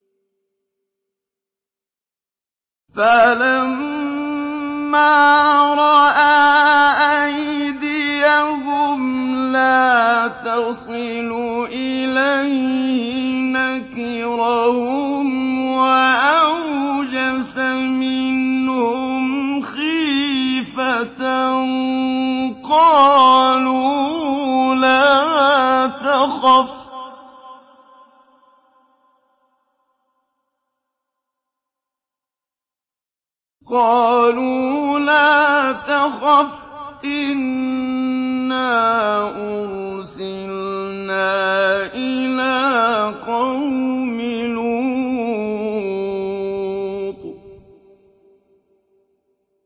فَلَمَّا رَأَىٰ أَيْدِيَهُمْ لَا تَصِلُ إِلَيْهِ نَكِرَهُمْ وَأَوْجَسَ مِنْهُمْ خِيفَةً ۚ قَالُوا لَا تَخَفْ إِنَّا أُرْسِلْنَا إِلَىٰ قَوْمِ لُوطٍ